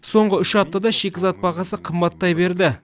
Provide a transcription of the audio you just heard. соңғы үш аптада шикізат бағасы қымбаттай берді